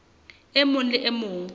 e mong le e mong